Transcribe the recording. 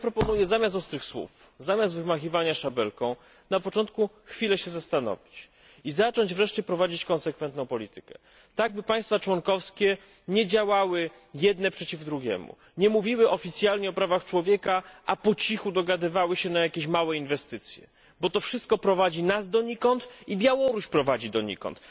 Więc ja proponuję zamiast ostrych słów, zamiast wymachiwania szabelką na początku chwilę się zastanowić i zacząć wreszcie prowadzić konsekwentną politykę, tak by państwa członkowskie nie działały jedne przeciw drugim, nie mówiły oficjalnie o prawach człowieka, a po cichu dogadywały się na jakieś małe inwestycje, bo to wszystko prowadzi nas donikąd i Białoruś prowadzi donikąd.